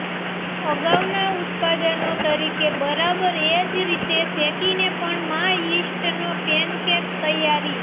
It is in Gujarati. અગાઉના ઉત્પાદનો તરીકે બરાબર એ જ રીતે શેકીને પણ માં યીસ્ટના પેનકેક તૈયારી